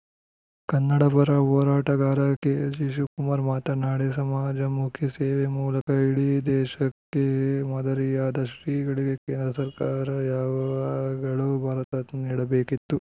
ಕನ್ನಡ ಪರ ಹೋರಾಟಗಾರ ಕೆಜಿಶಿವಕುಮಾರ್ ಮಾತನಾಡಿ ಸಮಾಜಮುಖಿ ಸೇವೆ ಮೂಲಕ ಇಡೀ ದೇಶಕ್ಕೆ ಮಾದರಿಯಾದ ಶ್ರೀಗಳಿಗೆ ಕೇಂದ್ರ ಸರ್ಕಾರ ಯಾವಾಗಲೋ ಭಾರತ ರತ್ನ ನೀಡಬೇಕಿತ್ತು